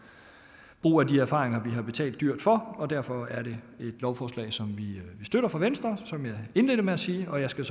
brug af de erfaringer vi har betalt dyrt for og derfor er det et lovforslag som vi fra venstres side som jeg indledte med at sige og jeg skal